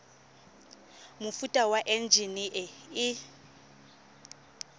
mofuta wa enjine e e